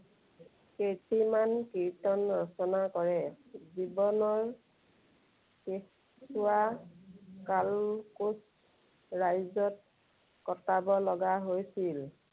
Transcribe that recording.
কেইটিমান কীৰ্ত্তন ৰচনা কৰে। জীৱনৰ কেঁচুৱাকাল কোচ ৰাজ্যত কটাব লগা হৈছিল।